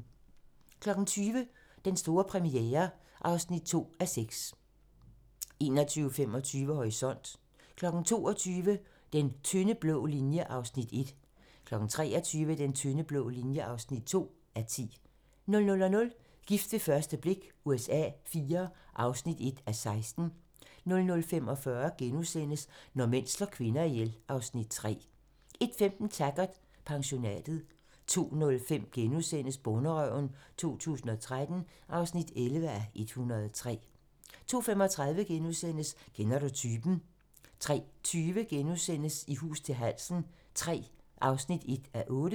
20:00: Den store premiere (2:6) 21:25: Horisont (tir) 22:00: Den tynde blå linje (1:10) 23:00: Den tynde blå linje (2:10) 00:00: Gift ved første blik USA IV (1:16) 00:45: Når mænd slår kvinder ihjel (Afs. 3)* 01:15: Taggart: Pensionatet 02:05: Bonderøven 2013 (11:103)* 02:35: Kender du typen? *(tir) 03:20: I hus til halsen III (1:8)*